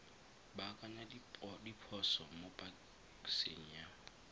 baakanya diphoso mo paseng ya